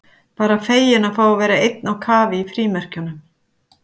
Bara feginn að fá að vera einn á kafi í frímerkjunum.